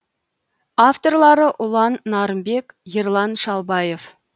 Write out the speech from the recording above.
авторлары ұлан нарынбек ерлан шалбаев